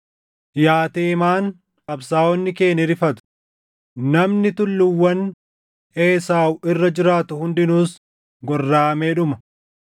“Yaa Teemaan qabsaaʼonni kee ni rifatu; namni tulluuwwan Esaawuu irra jiraatu hundinuus gorraʼamee dhuma.